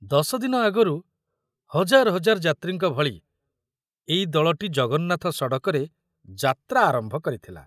ଦଶଦିନ ଆଗରୁ ହଜାର ହଜାର ଯାତ୍ରୀଙ୍କ ଭଳି ଏଇ ଦଳଟି ଜଗନ୍ନାଥ ସଡ଼କରେ ଯାତ୍ରା ଆରମ୍ଭ କରିଥିଲା।